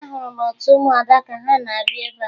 Ahụrụ m otu ụmụada ka ha na-abịa ebea